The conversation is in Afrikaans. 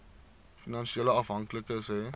finansiële afhanklikes hê